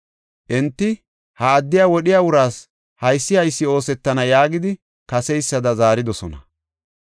Enti, “Ha addiya wodhiya uraas haysi haysi oosetana” yaagidi kaseysada zaaridosona.